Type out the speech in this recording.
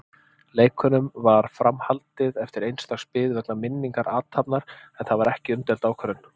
Leikunum var fram haldið eftir eins dags bið vegna minningarathafnar, en það var umdeild ákvörðun.